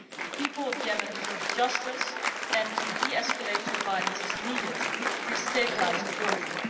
The people of Yemen deserve justice, and a de escalation of violence is needed to restabilise the country.